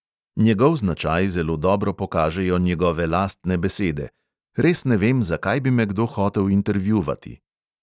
Njegov značaj zelo dobro pokažejo njegove lastne besede: "res ne vem, zakaj bi me kdo hotel intervjuvati."